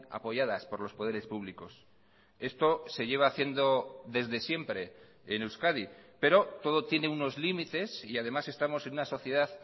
apoyadas por los poderes públicos esto se lleva haciendo desde siempre en euskadi pero todo tiene unos límites y además estamos en una sociedad